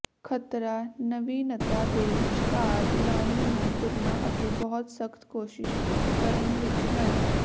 ਖ਼ਤਰਾ ਨਵੀਨਤਾ ਦੇ ਵਿਚਕਾਰ ਲਾਈਨ ਨੂੰ ਤੁਰਨਾ ਅਤੇ ਬਹੁਤ ਸਖਤ ਕੋਸ਼ਿਸ਼ ਕਰਨ ਵਿੱਚ ਹੈ